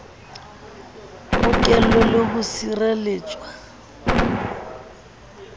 bokellwe le ho sire letswa